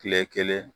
Kile kelen